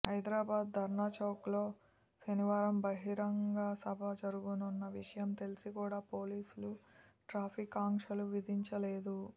హైదరాబాద్ ధర్నాచౌక్లో శనివారం బహిరంగ సభ జరగనున్న విషయం తెలిసి కూడా పోలీసులు ట్రాఫిక్ ఆంక్షలు విధించలేదు